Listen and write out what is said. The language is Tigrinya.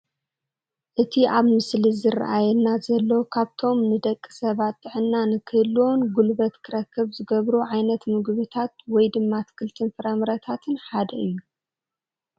እቲ ኣብቲ ምስሊ ዝራኣየና ዘሎ ካብቶም ንደቂ ሰባት ጥዕና ንኽህልዎን ጉልበት ክረክብ ዝገብሩ ዓይነታት ምግብታት ወይ ድማ ኣትክልትን ፍራምረታትን ሓደ እዩ፡፡